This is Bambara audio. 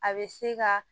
A bɛ se ka